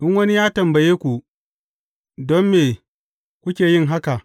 In wani ya tambaye ku, Don me kuke yin haka?’